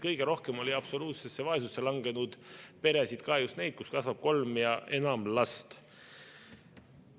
Kõige rohkem oli absoluutsesse vaesusesse langenud perede hulgas just neid, kus kasvab kolm ja enam last.